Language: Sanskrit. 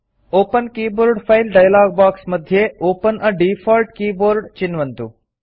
open keyboard file dialog box मध्ये ओपेन a डिफॉल्ट् कीबोर्ड चिन्वन्तु